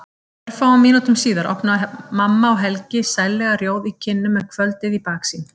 Örfáum mínútum síðar opna mamma og Helgi, sællega rjóð í kinnum með kvöldið í baksýn.